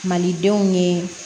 Malidenw ye